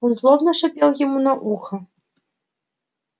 он злобно шипел ему на ухо